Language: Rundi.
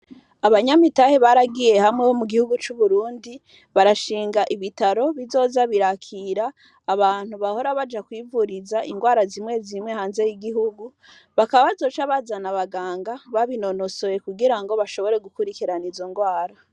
Abanyamitahe, baragiye hamwe, bo mu gihugu c'Uburundi, barashinga ibitaro, bizoza birakira, abantu bahora baja, kwivuriza, ingwara zimwe zimwe, hanze y'igihugu; bakaba, bazoca bazana abaganga, babinonosoye, kugira ngo, bashobore gukurikirana izo ngwara.